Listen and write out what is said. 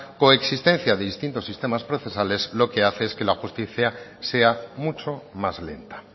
coexistencia de distintos sistemas procesales lo que hace es que la justicia sea mucho más lenta